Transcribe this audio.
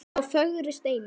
þá fögru steina.